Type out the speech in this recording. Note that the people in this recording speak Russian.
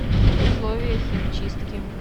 условия химчистки